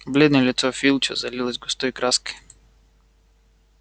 бледное лицо филча залилось густой краской